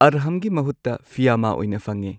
ꯑꯔꯍꯥꯝꯒꯤ ꯃꯍꯨꯠꯇ ꯐꯤꯌꯥꯃꯥ ꯑꯣꯏꯅ ꯐꯪꯉꯦ꯫